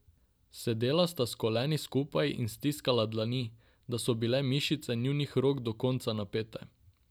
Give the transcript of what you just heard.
Sedela sta s koleni skupaj in stiskala dlani, da so bile mišice njunih rok do konca napete.